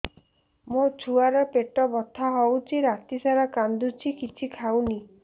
ମୋ ଛୁଆ ର ପେଟ ବଥା ହଉଚି ରାତିସାରା କାନ୍ଦୁଚି କିଛି ଖାଉନି